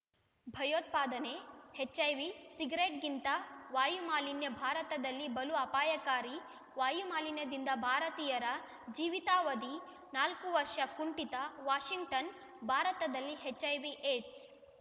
ಭಯೋತ್ಪಾದನೆ ಎಚ್‌ಐವಿ ಸಿಗರೆಟ್‌ಗಿಂತ ವಾಯುಮಾಲಿನ್ಯ ಭಾರತದಲ್ಲಿ ಬಲು ಅಪಾಯಕಾರಿ ವಾಯು ಮಾಲಿನ್ಯದಿಂದ ಭಾರತೀಯರ ಜೀವಿತಾವಧಿ ನಾಲ್ಕು ವರ್ಷ ಕುಂಠಿತ ವಾಷಿಂಗ್ಟನ್‌ ಭಾರತದಲ್ಲಿ ಎಚ್‌ಐವಿಏಡ್ಸ್‌